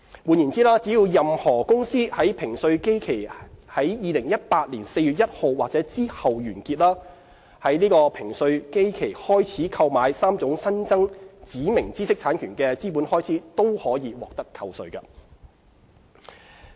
換言之，只要任何公司的評稅基期在2018年4月1日或之後完結，在這評稅基期開始購買3種新增指明知識產權的資本開支均可獲得扣稅。